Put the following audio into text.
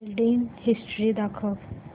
billing history दाखव